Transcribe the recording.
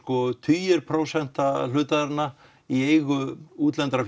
tugir prósenta hluthafanna í eigu útlendra